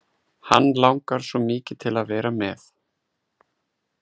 Hann langar svo mikið til að vera með.